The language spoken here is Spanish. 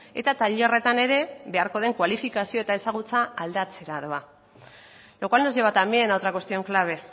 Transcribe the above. eta tailerretan ere beharko den kualifikazio eta ezagutza aldatzera doa lo cual nos lleva también a otra cuestión clave